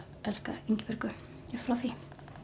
elskað Ingibjörgu upp frá því